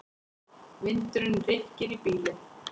Vindurinn rykkir í bílinn.